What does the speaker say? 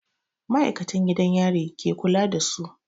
Ma'aikatan gidan yari ke kula da su.